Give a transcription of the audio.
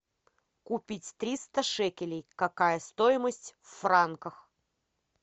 купить триста шекелей какая стоимость в франках